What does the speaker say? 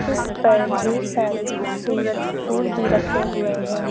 इस पर ढेर सारी खूबसूरत फुल भी रखे हुए है।